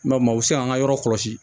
Mɛ u bɛ se k'an ka yɔrɔ kɔlɔsi